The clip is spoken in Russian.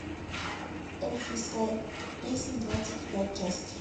эльфийская песнь двадцать пять часть